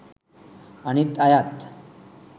අනිත් අයත්